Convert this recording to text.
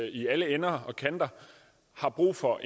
i alle ender og kanter brug for